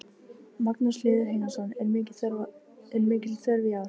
Magnús Hlynur Hreiðarsson: Er mikil þörf í ár?